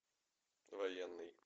военный